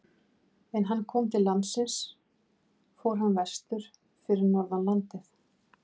En er hann kom til landsins fór hann vestur fyrir norðan landið.